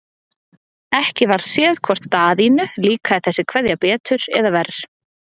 Ekki varð séð hvort Daðínu líkaði þessi kveðja betur eða verr.